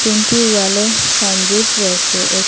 তিনটি ওয়ালে সাইনবোর্ড রয়েসে এ--